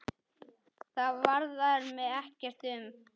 Það varðar mig ekkert um.